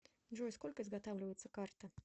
джой сколько изготавливается карта